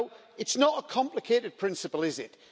It's not a complicated principle is it?